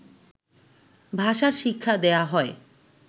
ভাষার শিক্ষা দেয়া হয়